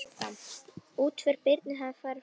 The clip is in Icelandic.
Útför Birnu hefur farið fram.